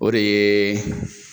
O de ye